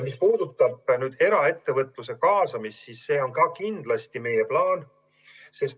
Mis puudutab eraettevõtluse kaasamist, siis see on kindlasti meie plaan.